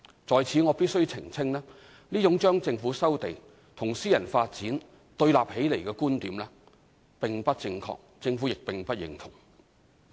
在此我必須澄清，這種將政府收地與私人發展對立起來的觀點並不正確，政府亦不認同。